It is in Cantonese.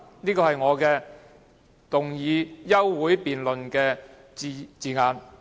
"，這是我動議休會待續議案的措辭。